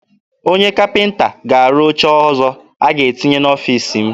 Onye kapịnta ga-arụ oche ọzọ a ga-etinye n'ọfiisi m.